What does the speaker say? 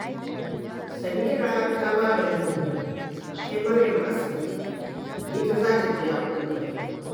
Samira ta ba da umarni a kai Maryam asibiti, ita za ta biya komai